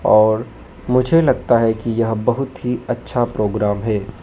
और मुझे लगता है कि यहं बहुत ही अच्छा प्रोग्राम है।